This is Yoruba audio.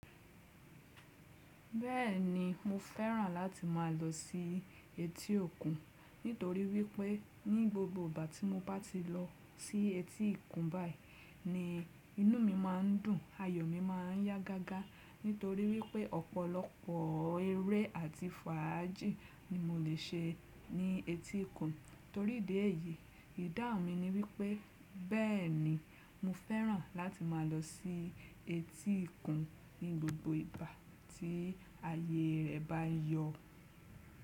Bẹ́ẹ̀ni mo fẹ́ràn láti máa lọ sí etí òkun nítorí wípé ní gbogbo ìgbà tí mo bá ti lọ sí etí ìkún báyìí ni inú mi má a ń dùn, ayọ̀ mi má a ń yá gágá nítorí wípé ọ̀pọ̀lọpọ̀ eré àti fàájì ni mo lè ṣe ní etí òkun. Torí ìdí èyí, ìdáhùn mi ni wípé bẹ́ẹ̀ni mo fẹ́ràn láti máa lọ sí etí òkun ní gbogbo ìgbà tí ayé rẹ bá yọ.